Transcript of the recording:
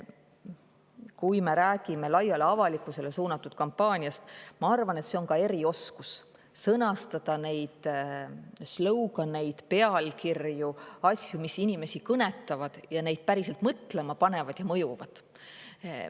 Kui me räägime laiale avalikkusele suunatud kampaaniast, siis ma arvan, et on erioskus sõnastada neid slogan'eid, pealkirju, asju, mis inimesi kõnetavad ja neid päriselt mõtlema panevad ja mõjuvad.